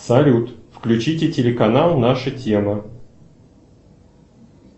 салют включите телеканал наша тема